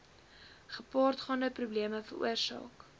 gepaardgaande probleme veroorsaak